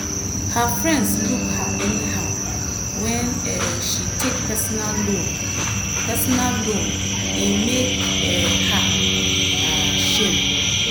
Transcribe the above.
her friends look her anyhow when um she take personal loan personal loan e make um her um shame.